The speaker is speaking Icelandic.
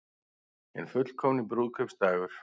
Hinn fullkomni brúðkaupsdagur